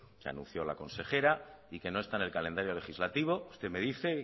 que anunció la consejera y que no está en el calendario legislativo usted me dice